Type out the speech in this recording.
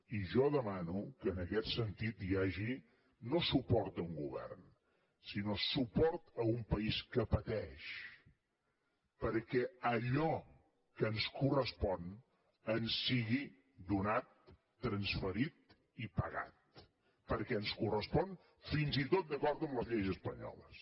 i jo demano que en aquest sentit hi hagi no suport a un govern sinó suport a un país que pateix perquè allò que ens correspon ens sigui donat transferit i pagat perquè ens correspon fins i tot d’acord amb les lleis espanyoles